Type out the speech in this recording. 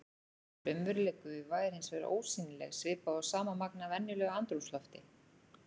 Raunveruleg gufa er hins vegar ósýnileg svipað og sama magn af venjulegu andrúmslofti.